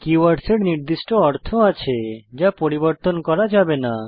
কিভোর্ডসহ এর নির্দিষ্ট অর্থ আছে যা পরিবর্তন করা যাবে না